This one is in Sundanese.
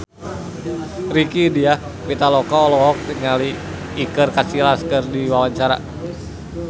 Rieke Diah Pitaloka olohok ningali Iker Casillas keur diwawancara